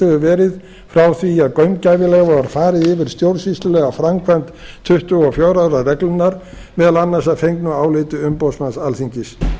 hefur verið frá því að gaumgæfilega var farið yfir stjórnsýslulega framkvæmd tuttugu og fjögurra ára reglunnar meðal annars að fengnu áliti umboðsmanns alþingis